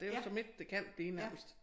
Det jo så midt det kan blive nærmest